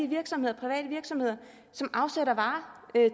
virksomheder som afsætter varer